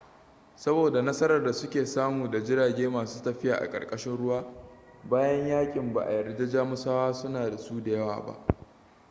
saboda nasarar da suke samu da jirage masu tafiya a ƙarƙashin ruwa bayan yakin ba a yarda jamusawa suna da su da yawa ba